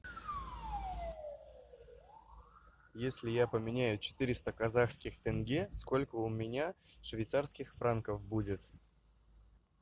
если я поменяю четыреста казахских тенге сколько у меня швейцарских франков будет